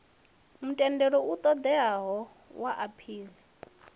mutendelo u ṱoḓeaho wa aphili